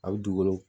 A bɛ dugukolo